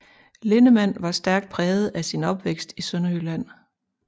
Linnemann var stærk præget af sin opvækst i Sønderjylland